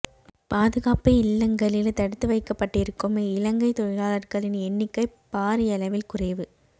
பாதுகாப்பு இல்லங்களில் தடுத்து வைக்கப்பட்டிருக்கும் இலங்கை தொழிலாளர்களின் எண்ணிக்கை பாரியளவில் குறைவு